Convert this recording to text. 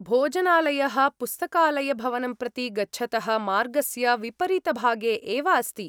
भोजनालयः, पुस्तकालयभवनं प्रति गच्छतः मार्गस्य विपरीतभागे एव अस्ति।